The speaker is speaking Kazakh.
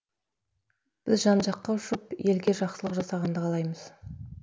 біз жан жаққа ұшып елге жақсылық жасағанды қалаймыз